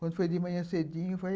Quando foi de manhã cedinho, eu falei,